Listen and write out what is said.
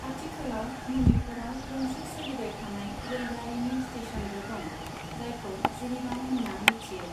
आथिखालाव मणिपुरआव गंसे सोलिबाय थानाय रेलगारिनि स्टेशनबो दं जायखौ जिरिबाम होनना मिथियो।